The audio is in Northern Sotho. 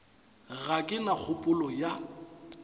ga ke na kgopolo ya